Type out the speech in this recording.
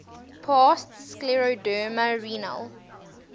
past scleroderma renal